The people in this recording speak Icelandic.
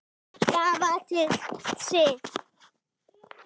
Það var til siðs.